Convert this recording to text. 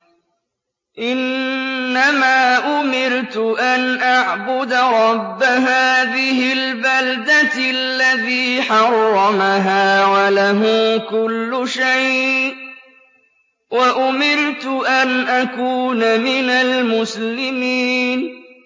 إِنَّمَا أُمِرْتُ أَنْ أَعْبُدَ رَبَّ هَٰذِهِ الْبَلْدَةِ الَّذِي حَرَّمَهَا وَلَهُ كُلُّ شَيْءٍ ۖ وَأُمِرْتُ أَنْ أَكُونَ مِنَ الْمُسْلِمِينَ